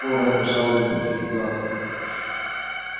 оо ретт пожалуй не будьте гадким